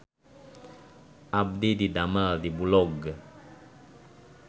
Abdi didamel di Bulog